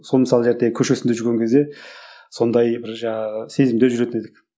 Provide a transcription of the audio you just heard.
сол мысалы көшесінде жүрген кезде сондай бір жаңағы сезімде жүретін едік